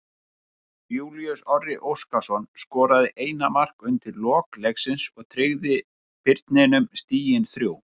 Júlíus Orri Óskarsson skoraði eina markið undir lok leiksins og tryggði Birninum stigin þrjú.